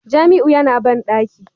Jamiu yana bandaki